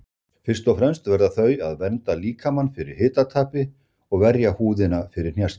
Fyrst og fremst verða þau að vernda líkamann fyrir hitatapi og verja húðina fyrir hnjaski.